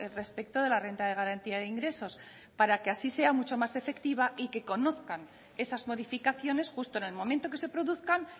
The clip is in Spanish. respecto de la renta de garantía de ingresos para que así sea mucho más efectiva y que conozcan esas modificaciones justo en el momento que se produzcan